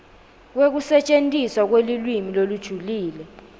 kwekusetjentiswa kwelulwimi lolujulile